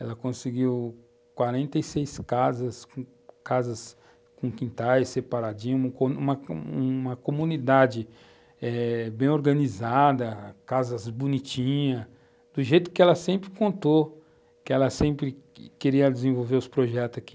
Ela conseguiu 46 casas, com, casas com quintais separadinhos, uma comunidade bem organizada, casas bonitinhas, do jeito que ela sempre contou, que ela sempre queria desenvolver os projetos aqui.